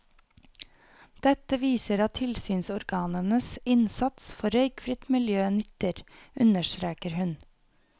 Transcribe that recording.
Dette viser at tilsynsorganenes innsats for røykfritt miljø nytter, understreker hun.